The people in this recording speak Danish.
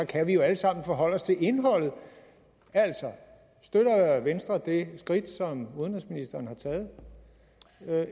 kan vi jo alle sammen forholde os til indholdet altså støtter venstre det skridt som udenrigsministeren har taget